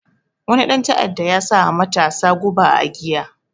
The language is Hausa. Wani ɗan ta'adda ya sawa matasa guba a giya